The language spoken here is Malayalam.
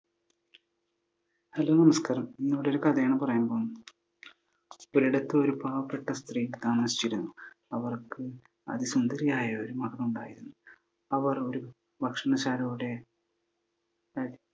ഹലോ നമസ്കാരം! ഇന്നിവിടെ ഒരു കഥയാണ് പറയാൻ പോണത്. ഒരിടത്തു ഒരു പാവപ്പെട്ട സ്ത്രീ താമസിച്ചിരുന്നു. അവർക്ക് അതിസുന്ദരിയായ ഒരു മകളുണ്ടായിരുന്നു. അവർ ഒരു ഭക്ഷണശാലയുടെ